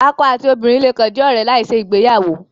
Akọ ati obinrin le kan jẹ ọrẹ lai ṣe igbeyawo